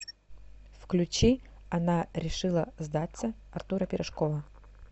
включи она решила сдаться артура пирожкова